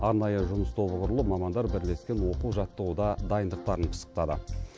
арнайы жұмыс тобы құрылып мамандар бірлескен оқу жаттығуда дайындықтарын пысықтады